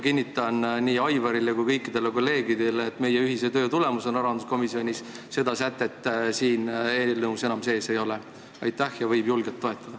Kinnitan nii Aivarile kui ka kõikidele teistele kolleegidele, et meie ühise töö tulemusena rahanduskomisjonis seda sätet siin eelnõus enam sees ei ole ja eelnõu võib julgelt toetada.